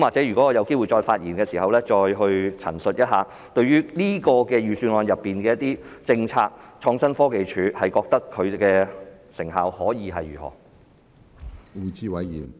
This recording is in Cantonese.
如果我有機會再發言，或許我再陳述一下，對於預算案中的一些政策，我覺得創新科技署有何成效的問題。